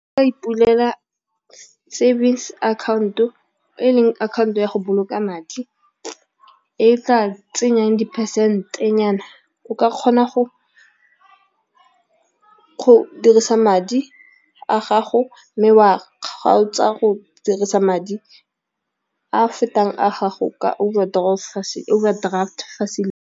Ipulela savings account-o e leng account-o ya go boloka madi, e tla tsenyang di-percent-e nyana o ka kgona go dirisa madi a gago, mme wa kgaotsa go dirisa madi a fetang a gago ka overdraft facility.